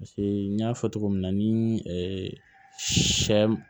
Paseke n y'a fɔ cogo min na ni sɛ